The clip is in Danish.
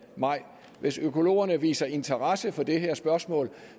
maj hvis økologerne viser interesse for det her spørgsmål